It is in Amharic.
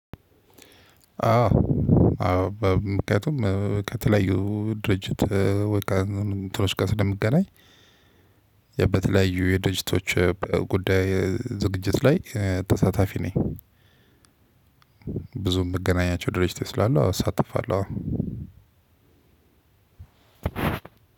አዎ ምክንያቱም ከተለያዩ ድርጅት ወይ ካንድ አንድ እትኖች ጋር ስለምገናኝ የበተለያዩ የደጅቶች ጉዳይ ዝግጅት ላይ ተሳታፊ ነኝ። ብዙም የምገናኛቸው ድርጅት ስላሉ አዎ እሳተፋለሁ አዎ